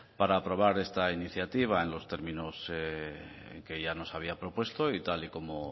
para aprobar esta iniciativa en los términos que ya nos había propuesto tal y como